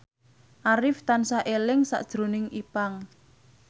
Arif tansah eling sakjroning Ipank